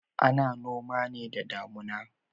Ana noma ne da damuna.